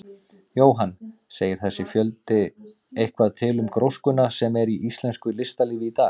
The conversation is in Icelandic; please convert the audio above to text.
Jóhann: Segir þessi fjöldi eitthvað til um gróskuna sem er í íslensku listalífi í dag?